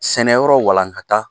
Sɛnɛyɔrɔ walankata